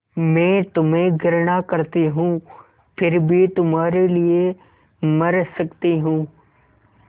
मैं तुम्हें घृणा करती हूँ फिर भी तुम्हारे लिए मर सकती हूँ